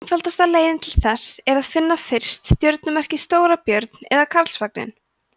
einfaldasta leiðin til þess er að finna fyrst stjörnumerkið stórabjörn eða karlsvagninn